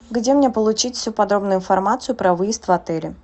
где мне получить всю подробную информацию про выезд в отеле